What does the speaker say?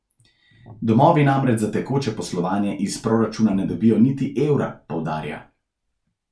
Domovi namreč za tekoče poslovanje iz proračuna ne dobijo niti evra, poudarja.